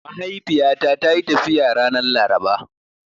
Mahaifiyata tayi tafiya ranar Laraba.